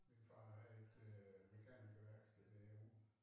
Min far havde et øh mekanikerværksted derude